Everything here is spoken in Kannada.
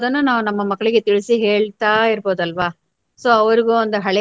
ಅದನ್ನ ನಾವು ನಮ್ಮ ಮಕ್ಕಳಿಗೆ ತಿಳಿಸಿ ಹೇಳ್ತಾಯಿರ್ಬಹುದಲ್ವ. So ಅವ್ರುಗೂ ಒಂದು ಹಳೆಯ.